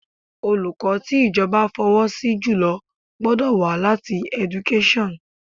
Olùkọ́ tí ìjọba fọwọ́ sí jùlọ gbọ́dọ̀ wá láti Education